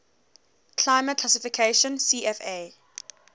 climate classification cfa